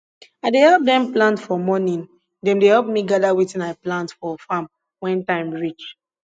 i dey help dem plant for morning dem dey help me gather wetin i plant for farm when time reach